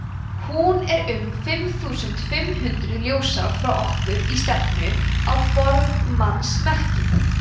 hún er um fimm þúsund fimm hundruð ljósár frá okkur í stefnu á bogmannsmerkið